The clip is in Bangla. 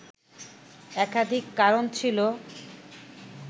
একাধিক কারণ ছিল